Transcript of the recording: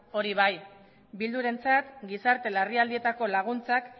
hori bai eh bildurentzat gizarte larrialdietarako laguntzak